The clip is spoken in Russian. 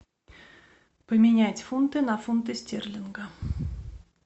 поменять фунты на фунты стерлинга